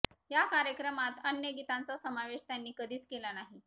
या कार्यक्रमात अन्य गीतांचा सामावेश त्यांनी कधीच केला नाही